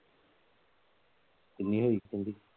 ਕਿੰਨੀ ਹੋਈ Salary?